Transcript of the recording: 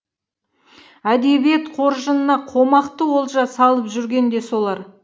әдебиет қоржынына қомақты олжа салып жүрген де солар